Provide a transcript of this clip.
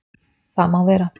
Það má vera